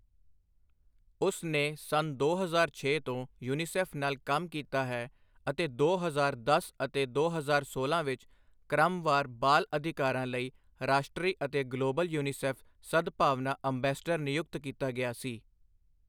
ਉਸਨੇ ਸੰਨ ਦੋ ਹਜ਼ਾਰ ਛੇ ਤੋਂ ਯੂਨੀਸੈੱਫ ਨਾਲ ਕੰਮ ਕੀਤਾ ਹੈ ਅਤੇ ਦੋ ਹਜ਼ਾਰ ਦਸ ਅਤੇ ਦੋ ਹਜ਼ਾਰ ਸੋਲਾਂ ਵਿੱਚ ਕ੍ਰਮਵਾਰ ਬਾਲ ਅਧਿਕਾਰਾਂ ਲਈ ਰਾਸ਼ਟਰੀ ਅਤੇ ਗਲੋਬਲ ਯੂਨੀਸੈੱਫ ਸਦਭਾਵਨਾ ਅੰਬੈਸਡਰ ਨਿਯੁਕਤ ਕੀਤਾ ਗਿਆ ਸੀ।